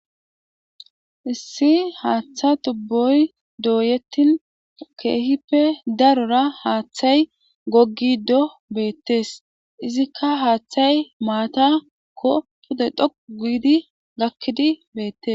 issi haaththa tubboy dooyettin keehippe darora haaththay goggi do beettes izikka haaththay maatakko pude dhoqu guidi gakkidi beettes